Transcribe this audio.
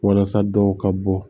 Walasa dɔw ka bɔ